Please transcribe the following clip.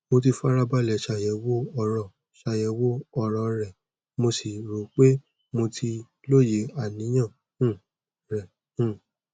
mo ti fara balẹ ṣàyẹwò ọro ṣàyẹwò ọro rẹ mo sì rò pé mo ti lóye àníyàn um rẹ um